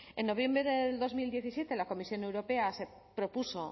en noviembre de dos mil diecisiete la comisión europea propuso